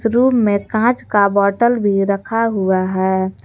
Room में कांच का बॉटल भी रखा हुआ है।